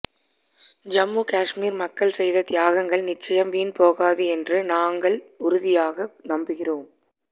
ஜம்மு காஷ்மீர் மக்கள் செய்த தியாகங்கள் நிச்சயம் வீண் போகாது என்று நாங்கள் உறுதியாக நம்புகிறோம்